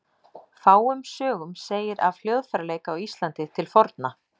Fáum sögum segir af hljóðfæraleik á Íslandi til forna.